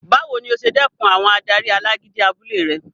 Báwo ni o ṣe dẹkùn àwọn adarí alágídí abúlé rẹ?